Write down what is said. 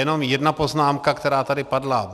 Jenom jedna poznámka, která tady padla.